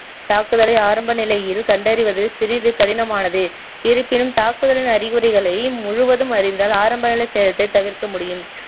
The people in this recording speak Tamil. தாக்குதலை ஆரம்ப நிலையில் கண்டறிவது சிறிது கடினமானது இருப்பினும் தாக்குதலின் அறிகுறிகளை முழுவதும் அறிந்தால் ஆரம்பநிலை சேதத்தை தவிர்க்க முடியும்